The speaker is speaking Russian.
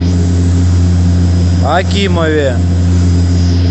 акимове